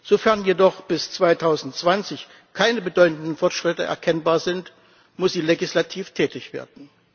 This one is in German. Sofern jedoch bis 2020 keine bedeutenden Fortschritte erkennbar sind, muss sie legislativ tätig werden.